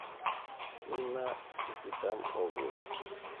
Mina, Tikitam okuni.